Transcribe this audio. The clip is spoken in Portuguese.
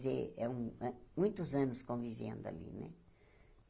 Quer dizer, é um eh muitos anos convivendo ali, né?